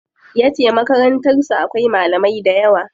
Yace Makarantar su akwai malamai dayawa.